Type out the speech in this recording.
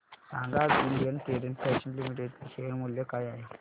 सांगा आज Indian Terrain Fashions Limited चे शेअर मूल्य काय आहे